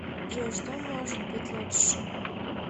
джой что может быть лучше